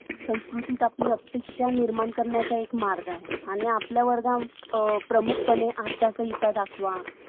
आपल्या भावनांबद्दल अधिक जागृत होण्यासाठी जर तुम्हाला बरे वाटत असेल. तर याचे कारण असे, कि तुमच्या मनात असे विचार आहे. त्यामुळे तुम्हाला चांगले वाटते. पण जर तुमच्या मनात जर विचारच तसे असतील कि नाही मला आज बरं नाहीये,